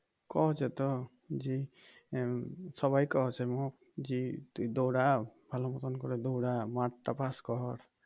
কওছে তো আহ সবাই কওছে মু যে তুই দৌড়া ভালো করে দৌড়া মাঠটা পাস কর